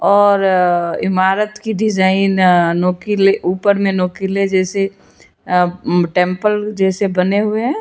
और इमारत की डिजाइन नुकीली ऊपर में नुकीली जैसे टेंपल जैसे बने हुए हैं।